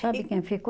Sabe quem ficou?